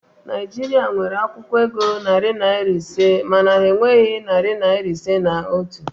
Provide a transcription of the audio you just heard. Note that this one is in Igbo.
Naịjirịa nwere akwụkwọ ego narị naịra ise mana ha enweghi narị naịra ise na otu